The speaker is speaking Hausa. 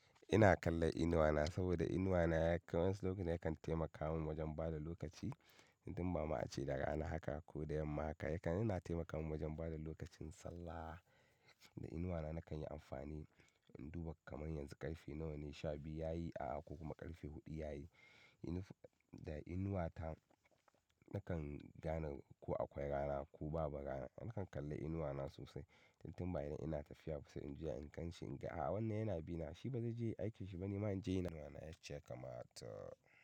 Ina kallon inuwa na saboda inuwa na ya kai wani lokaci yakan taimaka min wajen bada lokaci idan ma ace daga ana haka ko da yamma haka yakan-- yana taimaka min wajen bada lokacin sallah. Da inuwa na nakan yi amfani in duba kamar yanzu ƙarfe nawa ne, sha biyu yayi a'a ko kuma ƙarfe huɗu yayi. Da inuwa ta nakan gane ko akwai rana ko babu rana. Nakan kalli inuwa na sosai, tintin bayan ina tafiya sai in juya in gan shi inga a'a wannan yana bina, shi bazai je aikin shi ba nima in je iyi nawa. Inuwa na ya ce kamar ta.